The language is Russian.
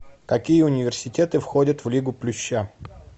какие университеты входят в лигу плюща